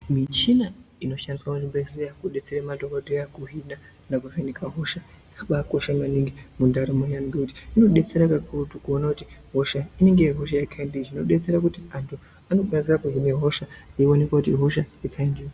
Muchina inoshandiswa kuzvibhendleya inobatsira madhokodhera kuhina nekuvheneka hosha, yakabakosha maningi mundaramo yeantu. Ngokuti inodetsera kakurutu kuona kuti hosha inenge iri hosha yekaindii. Inobatsira kuti anhu anokwanisa kuhina hosha eionekwa kuti ihosha yekaindii.